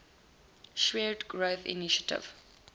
shared growth initiative